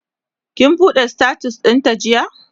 kin buɗe status ɗin ta jiya?